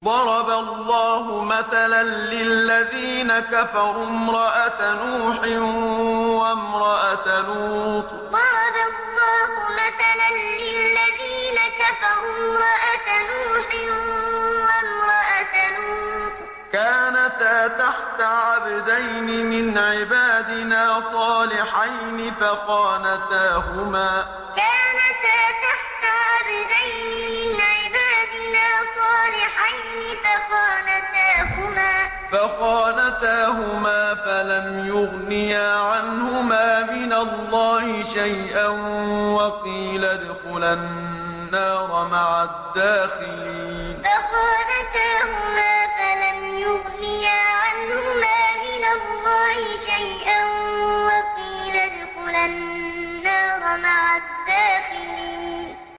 ضَرَبَ اللَّهُ مَثَلًا لِّلَّذِينَ كَفَرُوا امْرَأَتَ نُوحٍ وَامْرَأَتَ لُوطٍ ۖ كَانَتَا تَحْتَ عَبْدَيْنِ مِنْ عِبَادِنَا صَالِحَيْنِ فَخَانَتَاهُمَا فَلَمْ يُغْنِيَا عَنْهُمَا مِنَ اللَّهِ شَيْئًا وَقِيلَ ادْخُلَا النَّارَ مَعَ الدَّاخِلِينَ ضَرَبَ اللَّهُ مَثَلًا لِّلَّذِينَ كَفَرُوا امْرَأَتَ نُوحٍ وَامْرَأَتَ لُوطٍ ۖ كَانَتَا تَحْتَ عَبْدَيْنِ مِنْ عِبَادِنَا صَالِحَيْنِ فَخَانَتَاهُمَا فَلَمْ يُغْنِيَا عَنْهُمَا مِنَ اللَّهِ شَيْئًا وَقِيلَ ادْخُلَا النَّارَ مَعَ الدَّاخِلِينَ